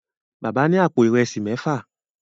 Bàbá ní àpò Ìrẹsí méfà.